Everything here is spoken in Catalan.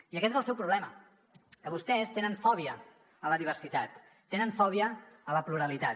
i aquest és el seu problema que vostès tenen fòbia a la diversitat tenen fòbia a la pluralitat